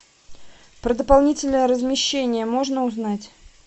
про дополнительное размещение можно узнать